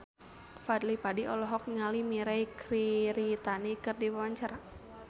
Fadly Padi olohok ningali Mirei Kiritani keur diwawancara